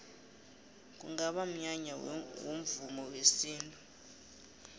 kungaba mnyanya womvumo wesintu